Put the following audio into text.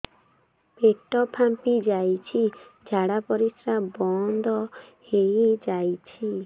ପେଟ ଫାମ୍ପି ଯାଇଛି ଝାଡ଼ା ପରିସ୍ରା ବନ୍ଦ ହେଇଯାଇଛି